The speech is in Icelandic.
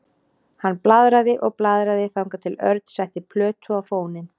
Hann blaðraði og blaðraði þangað til Örn setti plötu á fóninn.